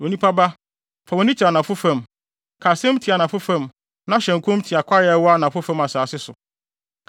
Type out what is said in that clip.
“Onipa ba fa wʼani kyerɛ anafo fam, ka asɛm tia anafo fam na hyɛ nkɔm tia kwae a ɛwɔ anafo fam asase so.